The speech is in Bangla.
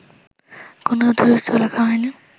কোনো তথ্যসূত্র লেখা হয়নি